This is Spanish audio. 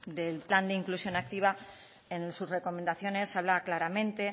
del plan de inclusión activa en sus recomendaciones habla claramente